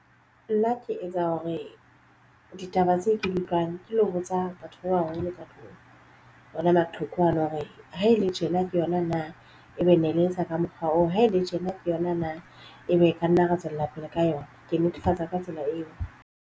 Nna ke etsa hore ditaba tse ke di utlwang ke lo botsa batho ba baholo ka tlung hona maqheku ano. Hore ha e le tjena ke yona na e be ne le etsa ka mokgwa oo ha ele tjena ke yona na ebe ra nna ra tswella pele ka yona. Ke netefatsa ka tsela eo.